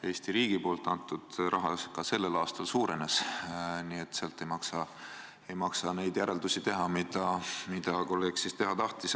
Eesti riigi antud raha ka sellel aastal suurenes, nii et sealt ei maksa neid järeldusi teha, mida kolleeg teha tahtis.